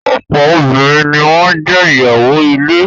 Ọ̀pọ̀ obìnrin ni wọ́n jé ìyàwó ilé.